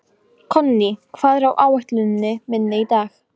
Konný, hvað er á áætluninni minni í dag?